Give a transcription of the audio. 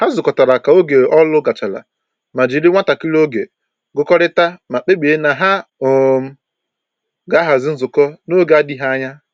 Ha zụkọtara ka oge ọrụ gachara ma jiri nwantakịrị oge gụkọrịta ma kpebie na ha um ga-ahazi nzukọ n'oge adịghị anya